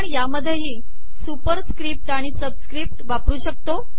आपण यातही सुपरिसकपट आिण सबिसकपट वापर शकतो